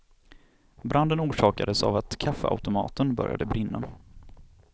Branden orsakades av att kaffeautomaten började brinna.